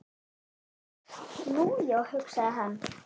Nú, já, hugsaði hann.